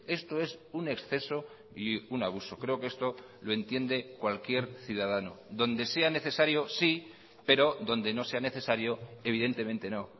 esto es un exceso y un abuso creo que esto lo entiende cualquier ciudadano donde sea necesario sí pero donde no sea necesario evidentemente no